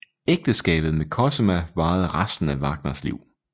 Ægteskabet med Cosima varede resten af Wagners liv